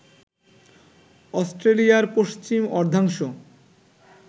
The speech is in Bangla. অস্ট্রেলিয়ার পশ্চিম অর্ধাংশ